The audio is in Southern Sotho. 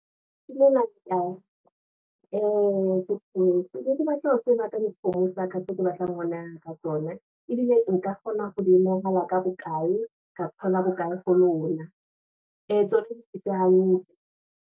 Ke ne kebatla ho tseba ka dikgomo tsa ka, tseo ke batlang ho nehelana ka tsona, ebile nka kgona ka bokae, ka thola bokae ho lona, ee tsona di phetse hantle.